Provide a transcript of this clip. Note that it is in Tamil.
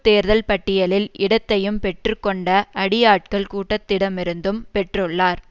தேர்தல் பட்டியலில் இடத்தையும் பெற்று கொண்ட அடியாட்கள் கூட்டத்திடமிருந்தும் பெற்றுள்ளார்